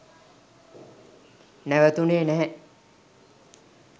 නැවතුනේ නැහැ.